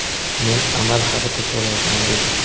men amal haqida so‘rayapman, dedi.